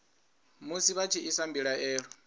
musi vha tshi isa mbilaelo